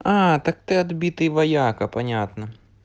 а так ты отбитый вояка понятно